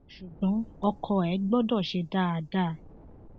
ṣùgbọn ọkọ ẹ gbọdọ ṣe é dáadáa